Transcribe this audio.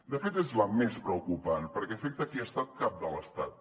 de fet és la més preocupant perquè afecta qui ha estat cap de l’estat